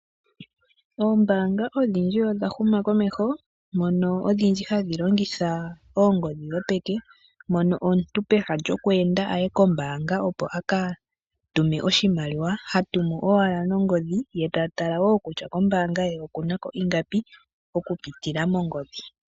Oombanga odhindji odhahuma komeho mono odhindji hadhilongitha ongodhi dhopeke, mono omuntu peha lyokwenda aye kombanga opo akatume oshimaliwa hatumu owala nongodhi ye tatala wo kutya kombanga ye okunako ingapi oku pitila mongodhi.